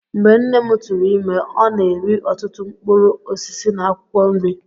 Mgbe nne m tụụrụ ime, ọ na-eri ọtụtụ mkpụrụ osisi na akwụkwọ nri.